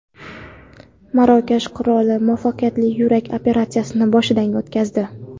Marokash qiroli muvaffaqiyatli yurak operatsiyasini boshidan o‘tkazdi.